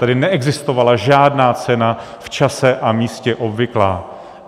Tady neexistovala žádná cena v čase a místě obvyklá.